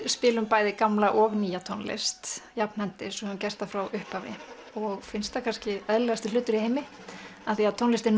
spilum bæði gamla og nýja tónlist og höfum gert það frá upphafi og finnst það kannski eðlilegasti hluti í heimi því tónlist er